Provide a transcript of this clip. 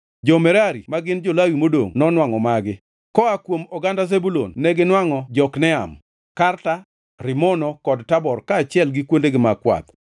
Jo-Merari (ma gin jo-Lawi modongʼ) nonwangʼo magi: Koa kuom oganda Zebulun neginwangʼo Jokneam, Karta, Rimono kod Tabor kaachiel gi kuondegi mag kwath;